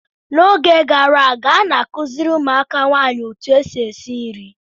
N'oge gara aga, a na-akụziri ụmụaka nwaanyị otu esi esi nri.